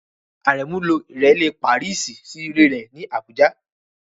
Àrẹ̀mú ló Ìrẹ́lè Pàrísì sí ilẹ̀ rẹ̀ ní Àbújá.